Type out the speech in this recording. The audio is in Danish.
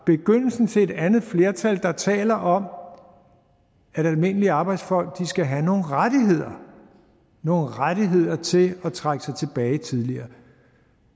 begyndelsen til et andet flertal der taler om at almindelige arbejdsfolk skal have nogle rettigheder nogle rettigheder til at trække sig tilbage tidligere